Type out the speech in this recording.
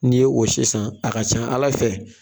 N'i ye o si san a ka ca ala fɛ